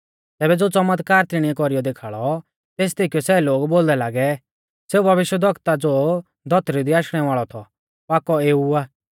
तैबै ज़ो च़मतकार तिणीऐ कौरीऔ देखाल़ौ तेस देखीयौ सै लोग बोलदै लागै सेऊ भविष्यवक्ता ज़ो धौतरी दी आशणै वाल़ौ थौ पाकौ एऊ आ